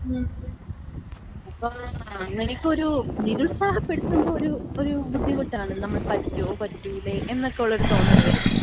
മ്മ്. എനിക്കൊര് നിരുത്സാഹപ്പെടുത്തുമ്പോ ഒര് ഒര് ബുദ്ധിമുട്ടാണ്. നമ്മക് പറ്റൊ പറ്റൂലെ എന്നൊക്കെള്ളൊരു തോന്നല് വരും.